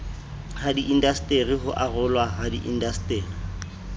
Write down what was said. hadiindaseteri ho arolwa ha diindaseteri